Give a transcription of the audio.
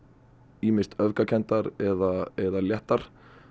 ýmist öfgakenndar eða léttar